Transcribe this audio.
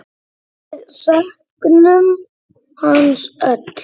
Við söknum hans öll.